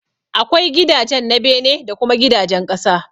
Akwai gidajen na bene da kuma gidajen ƙasa.